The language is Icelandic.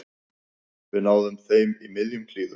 Við náðum þeim í miðjum klíðum